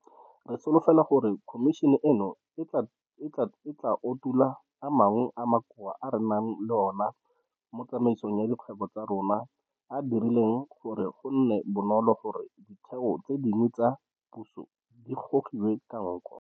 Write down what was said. Re solofela gore khomišene eno e tla utolola a mangwe a makoa a re nang le ona mo tsamaisong ya dikgwebo tsa rona a a dirileng gore go nne bonolo gore ditheo tse dingwe tsa puso di gogiwe ka nko.